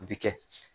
A bɛ kɛ